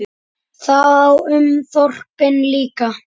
Það á um þorpin líka.